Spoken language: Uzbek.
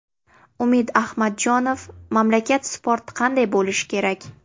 Umid Ahmadjonov: Mamlakat sporti qanday bo‘lishi kerak?